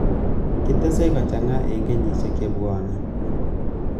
Kitesei kochanga eng kenyisiek chebwonei